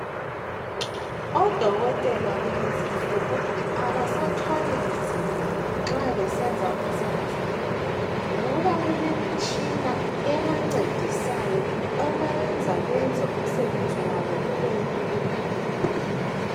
Odokotela kulezi insuku abasathwali nzimai insuku uma besenza umisebenzi wabo, ngoba kulemitshina ebancedisayo. Ebayenza benze umisebenzi wabo ubelula.